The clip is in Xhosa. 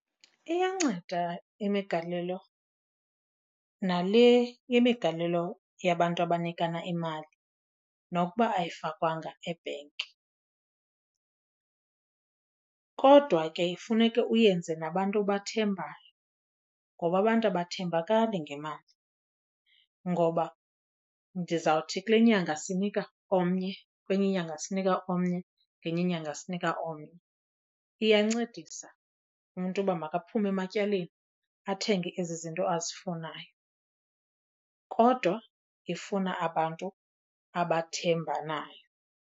Iyanceda imigalelo nale imigalelo yabantu abanikana imali nokuba ayifakwanga ebhenki. Kodwa ke funeke uyenze nabantu obathembayo ngoba abantu abathembakali ngemali. Ngoba ndizawuthi kule nyanga sinika omnye, kwenye inyanga sinika omnye, ngenye inyanga sinika omnye. Iyancedisa umntu uba makaphume ematyaleni athenge ezi zinto azifunayo, kodwa ifuna abantu abathembanayo.